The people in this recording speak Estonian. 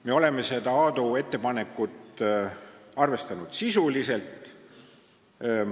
Me oleme seda Aadu ettepanekut arvestanud sisuliselt.